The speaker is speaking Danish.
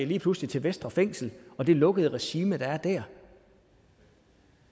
lige pludselig til vestre fængsel og det lukkede regime der er der